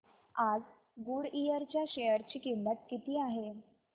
आज गुडइयर च्या शेअर ची किंमत किती आहे